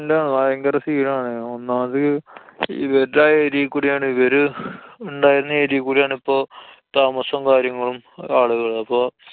ന്‍ടാണ്. ഭയങ്കര scene ആണ്. ഒന്നാമത് ഇവര്ടെ ആ area കൂടെ ആണ്. ഇവര് ഇണ്ടായിരുന്ന ആ area കൂട്യാണ് ഇപ്പോ താമസവും കാര്യങ്ങളും ആളുകള്. അപ്പൊ.